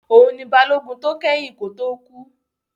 Òun ni Balógun tó kẹ́yìn kó tó kú